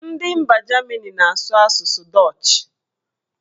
Ndị mba Jamini na-asụ asụsụ dọch